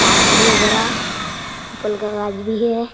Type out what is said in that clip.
भी है बड़ा पीपल का गाँछ भी है।